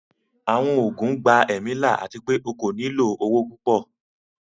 Àwọn oogun gbà ẹ̀mí là ati pẹ̀ o kò ní ilọ owo pupọ̀